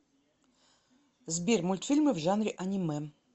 сбер мультфильмы в жанре анимэ